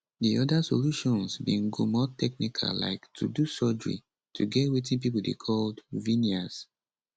di oda solutions bin go more technical like to do surgery to get wetin pipo dey call veneers